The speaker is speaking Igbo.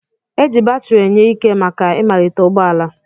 Eji batiri enye ike màkà ịmalite ụgbọala.